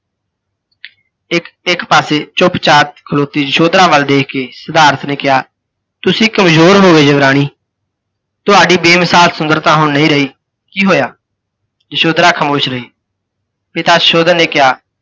ਇੱਕ ਇੱਕ ਪਾਸੇ ਚੁਪਚਾਪ ਖਲੋਤੀ ਯਸ਼ੋਧਰਾ ਵਲ ਦੇਖਕੇ ਸਿਧਾਰਥ ਨੇ ਕਿਹਾ, ਤੁਸੀਂ ਕਮਜ਼ੋਰ ਹੋ ਗਏ ਯੁਵਰਾਣੀ, ਤੁਹਾਡੀ ਬੇਮਿਸਾਲ ਸੁੰਦਰਤਾ ਹੁਣ ਨਹੀਂ ਰਹੀ, ਕੀ ਹੋਇਆ? ਯਸ਼ੋਧਰਾ ਖਾਮੋਸ਼ ਰਹੀ। ਪਿਤਾ ਸੁਸ਼ੋਧਨ ਨੇ ਕਿਹਾ,